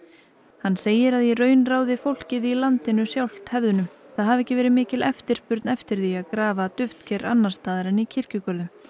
hann segir að í raun ráði fólkið sjálft hefðunum það hafi ekki verið mikil eftirspurn eftir því að grafa duftker annars staðar en í kirkjugörðum